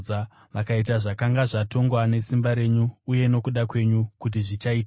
Vakaita zvakanga zvatongwa nesimba renyu uye nokuda kwenyu kuti zvichaitika.